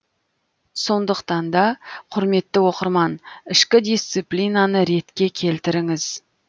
сондықтан да құрметті оқырман ішкі дисциплинаны ретке келтіріңіз